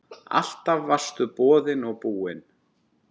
Alltaf varstu boðinn og búinn.